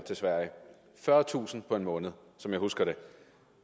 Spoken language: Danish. fyrretusind på en måned som jeg husker det